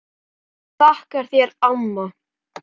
Ég vil þakka þér amma.